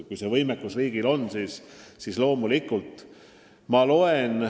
Kui see võimekus riigil aga tekib, siis loomulikult.